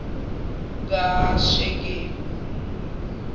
kashekemi